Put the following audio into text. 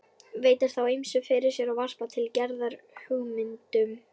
Veltir þá ýmsu fyrir sér og varpar til Gerðar hugmyndum.